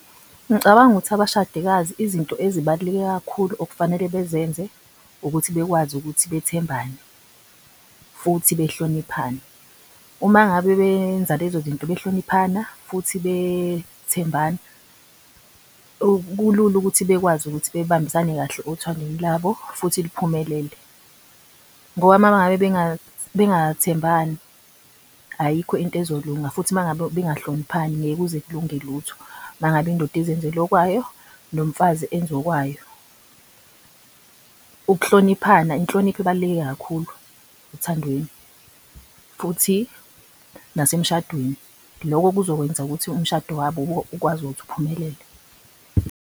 Ngicabanga ukuthi abashadikazi izinto ezibalulekile kakhulu okufanele bezenze ukuthi bakwazi ukuthi bethembane futhi behloniphane. Uma ngabe benza lezo zinto behloniphana futhi bethembana kulula ukuthi bekwazi ukuthi bebambisane kahle othandweni labo futhi liphumelele. Ngoba mengabe bengathembani ayikho into ezolunga futhi mangabe bengahloniphani ngeke kuze kulunge lutho mangabe indoda izenzela okwayo nomfazi enze okayo. Ukuhloniphani, inhlonipho ibaluleke kakhulu othandweni futhi nasemshadweni. Lokho kuzokwenza ukuthi umshado wabo ukwazi ukuthi uphumelele.